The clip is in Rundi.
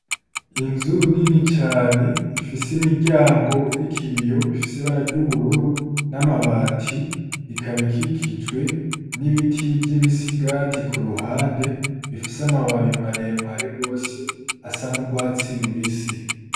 Inzu nini cane ifise imiryango iriko ibiyo, ifise ibara ry’ubururu n’amabati, ikaba ikikijwe n'ibiti vy'imisigati ku ruhande bifise amababi mare mare gose asa n’urwatsi rubisi.